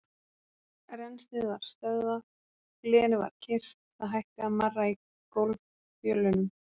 Rennslið var stöðvað, glerið var kyrrt, það hætti að marra í gólffjölunum.